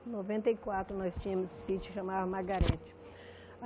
Em nove quatro, nós tínhamos esse sítio, chamava Magarete.